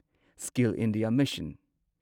skill India mission